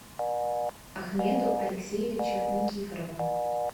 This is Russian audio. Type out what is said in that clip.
ахмеду алексеевичу никифорову